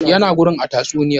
Ya na gurin a tatsuniyar?